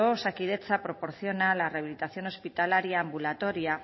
osakidetza proporciona la rehabilitación hospitalaria ambulatoria